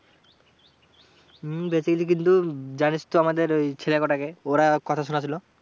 হম বেঁচে গেলি কিন্তু, উম জানিস তো আমাদের ওই ছেলে কটাকে? ওরা কথা শোনাচ্ছিল।